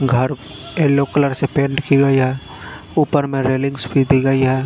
घर yellow colour से paint कि गई है ऊपर में रेलिंग्स भी दी गई है।